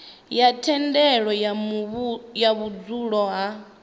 na thendelo ya vhudzulo ha